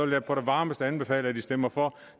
jeg på det varmeste anbefale at man stemmer for